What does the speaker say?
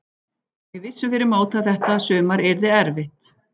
Við vissum fyrir mót að þetta sumar yrði erfitt.